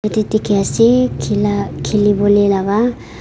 te dikhiase khila khiliwolae laka.